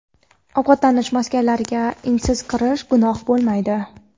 ovqatlanish maskanlariga) iznsiz kirish gunoh bo‘lmaydi.